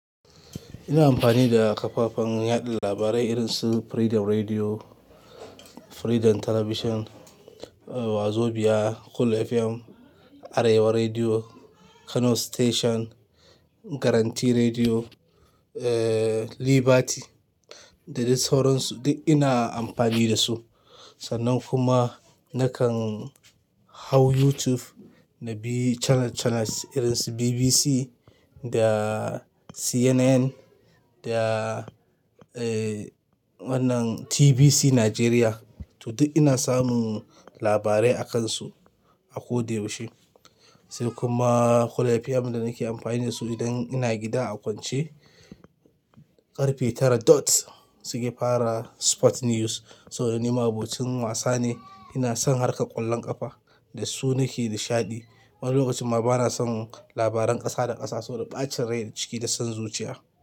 Ina amfani da kafafen yaɗa labarai irin su Freedom Radio, Freedom Television, Wazobia, Cool FM, Arewa Radio, Kano Station, Guarantee Radio, eh, Liberty da dai sauransu duk ina amfani da su. Sannan kuma nakan hau YouTube na bi channel-channel irin su BBC da CNN da, eh, wannan TVC Nigeria. To duk ina samun labarai a kansu a ko da yaushe. Sel kuma Cool FM da nake amfani da su idan ina gida a kwance, karfe tara dots suke fara sport news. So dan ni ma abocin wasa ne, ina son harka ƙwallon ƙafa dasu nake ni shaɗi. Wani lokacin ma bana son labaran ƙasa da ƙasa saboda ɓacin rai ciki da son zuciya.